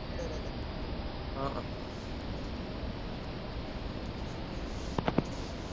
উম উম